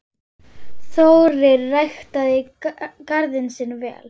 Þórir ræktaði garðinn sinn vel.